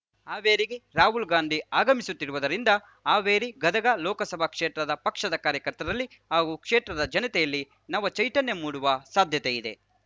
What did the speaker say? ಹಾವೇರಿಗೆ ರಾಹುಲ್ ಗಾಂಧಿ ಆಗಮಿಸುತ್ತಿರುವದರಿಂದ ಹಾವೇರಿಗದಗ ಲೋಕಸಭಾ ಕ್ಷೇತ್ರ ಪಕ್ಷದ ಕಾರ್ಯಕರ್ತರಲ್ಲಿ ಹಾಗೂ ಕ್ಷೇತ್ರದ ಜನತೆಯಲ್ಲಿ ನವ ಚೈತನ್ಯ ಮೂಡುವ ಸಾಧ್ಯತೆಯಿದೆ